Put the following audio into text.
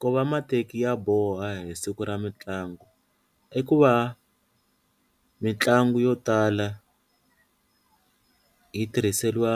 ku va mateki ya boha hi siku ra mitlangu i ku va mitlangu yo tala yi tirhiseriwa